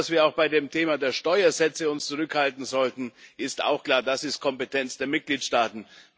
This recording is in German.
Und dass wir uns auch beim Thema der Steuersätze zurückhalten sollten, ist auch klar, das ist die Kompetenz der Mitgliedstaaten.